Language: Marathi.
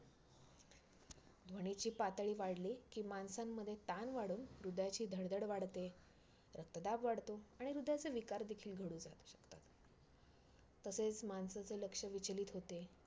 ध्वनीची पातळी वाढली की माणसांमध्ये ताण वाढून हृदयाची धडधड वाढते, रक्तदाब वाढतो आणि हृदयाचे विकार देखिल जडू शकतात. तसेच माणसाचे लक्ष्य विचलित होते,